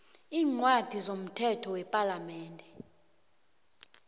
eencwadini zomthetho wepalamende